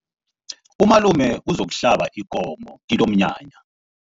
Umalume uzokuhlaba ikomo kilomnyanya.